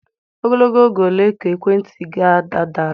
Ogologo oge ole ka ekwentị ga-adịru?